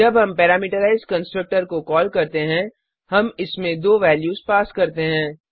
जब हम parameterized constructor को कॉल करते हैं हम इसमें दो वैल्यूज पास करते हैं